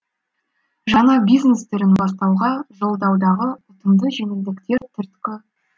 жаңа бизнес түрін бастауға жолдаудағы ұтымды жеңілдіктер түрткі